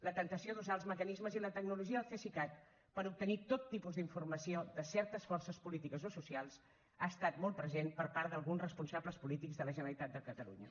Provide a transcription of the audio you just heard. la temptació d’usar els mecanismes i la tecnologia del cesicat per obtenir tot tipus d’informació de certes forces polítiques o socials ha estat molt present per part d’alguns responsables polítics de la generalitat de catalunya